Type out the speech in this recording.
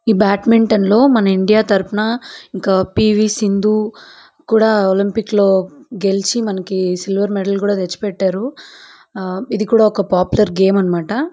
ఈ బాడ్మింటన్ లో మన ఇండియా తరపున ఇంకా పీ వీ. సింధు కూడా ఒలింపిక్ లో గెలిచి మనకు సిల్వర్ మెడల్ కూడా తెచ్చి పెట్టారు ఆ ఇదికూడా ఒక పాపులార్ గేమ్ అన్నమాట.